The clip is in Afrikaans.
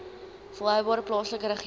volhoubare plaaslike regering